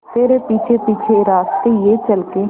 तेरे पीछे पीछे रास्ते ये चल के